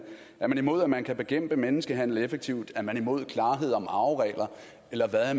er dansk folkeparti imod at man kan bekæmpe menneskehandel effektivt er imod klarhed om arveregler eller hvad er